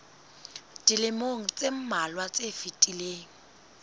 dilemong tse mmalwa tse fetileng